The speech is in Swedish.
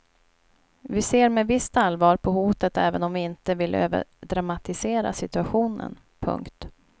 Vi ser med visst allvar på hotet även om vi inte vill överdramatisera situationen. punkt